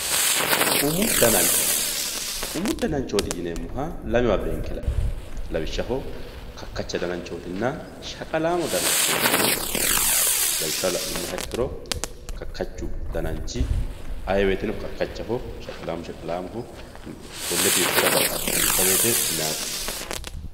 umu danancho, umu dananchooti yineemmoha lamewa beenke la'nanni lawishshaho, kakkacha dananchootinna shaqqalaamo dananchooti yine beenkanni lawishshaho la'nummoha ikkiro kakkachu dananchi ayee woyteno kakkachaho shaqalaamu shaqalaamoho konne biifisira baxxaati duucha woyte meyaate.